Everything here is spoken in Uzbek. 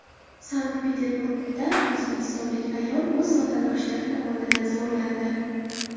Sankt-Peterburgda o‘zbekistonlik ayol o‘z vatandoshlari tomonidan zo‘rlandi.